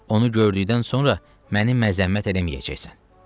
Onu gördükdən sonra məni məzəmmət eləməyəcəksən.